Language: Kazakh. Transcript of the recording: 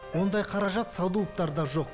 ондай қаражат садуовтарда жоқ